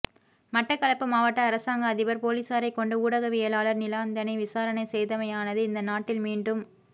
மட்டக்களப்பு மாவட்ட அரசாங்க அதிபர் பொலீசாரை கொண்டு ஊடகவியலாளர் நிலாந்தனை விசாரணை செய்தமையானது இந்த நாட்டில் மீண்டும்